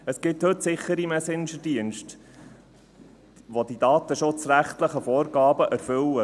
Es gibt heute sichere Messengerdienste, welche die datenschutzrechtlichen Vorgaben erfüllen.